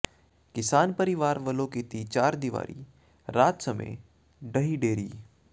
ਕਿਸਾਨ ਪਰਿਵਾਰ ਵੱਲੋਂ ਕੀਤੀ ਚਾਰਦੀਵਾਰੀ ਰਾਤ ਸਮੇਂ ਢਹਿ ਢੇਰੀ